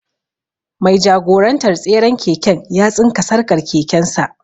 Mai jagorantar tseren keken ya tsinka sarƙar keken sa.